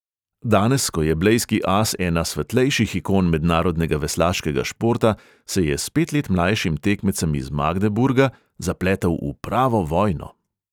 Danes, ko je blejski as ena svetlejših ikon mednarodnega veslaškega športa, se je s pet let mlajšim tekmecem iz magdeburga zapletel v pravo vojno.